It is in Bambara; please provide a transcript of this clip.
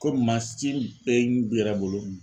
Komi mansin bɛ n yɛrɛ bolo